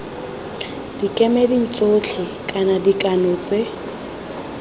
dikemeding tsotlhe kana dikgano tse